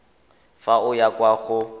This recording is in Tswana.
fa o ya kwa go